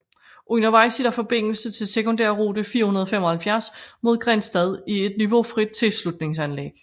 Undervejs er der forbindelse til sekundærrute 475 mod Grindsted i et niveaufrit tilslutningsanlæg